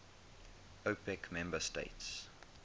opec member states